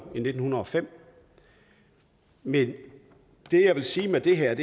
i nitten hundrede og fem men det jeg vil sige med det her